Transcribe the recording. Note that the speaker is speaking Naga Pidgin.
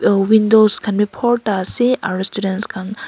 oh windows khan bhi bhorta ase aru students khan--